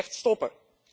Dat moet echt stoppen!